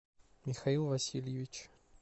михаил васильевич